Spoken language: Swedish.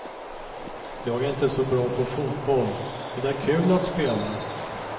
Jag är inte så bra på fotboll, men det är kul att spela.